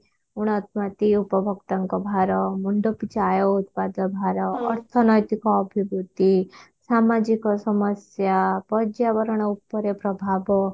ଗୁଣାତ୍ମତୀ ଉପଭୋକ୍ତାଙ୍କ ଭାର ମୁଣ୍ଡ ପିଛା ଆୟ ଉତ୍ପାଦ ଭାର ଅର୍ଥନୈତିକ ଅଭିବୃତି ସାମାଜିକ ସମସ୍ୟା ପର୍ଜ୍ୟାବରଣ ଉପରେ ପ୍ରଭାବ